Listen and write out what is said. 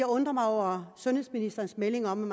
undrer mig over sundhedsministerens melding om